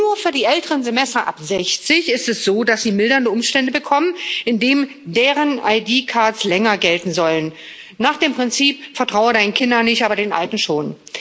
Nur für die älteren Semester ab sechzig ist es so, dass sie mildernde Umstände bekommen, indem deren länger gelten sollen nach dem Prinzip Vertrau deinen Kindern nicht, aber den Alten schon.